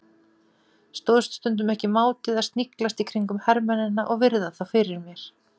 Stóðst stundum ekki mátið að sniglast í kringum hermennina og virða þá fyrir mér.